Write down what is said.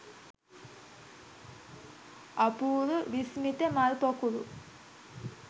අපූරු විස්මිත මල් පොකුරු !